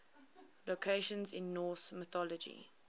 locations in norse mythology